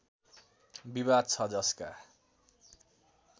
विवाद छ जसका